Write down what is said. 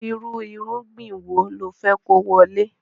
Irú irúgbìn wo lo fe kówólé